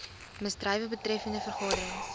misdrywe betreffende vergaderings